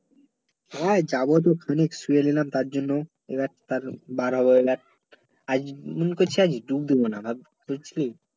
হ্যাঁ যাব তো খানিক শুয়ে নিলাম তার জন্য এবার তার বার হব এবার আজ মনে আজ করছি ডুব দিবো না